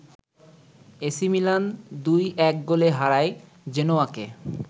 AC Milan ২-১ গোলে হারায় জেনোয়াকে